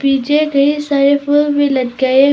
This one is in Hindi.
पीछे ढेर सारे फूल भी लटकाए--